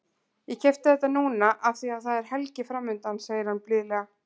Ég keypti þetta núna af því að það er helgi framundan, segir hann blíðlega.